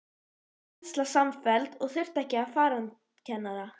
Þá varð kennsla samfelld og þurfti ekki farandkennara.